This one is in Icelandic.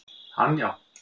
Hann já.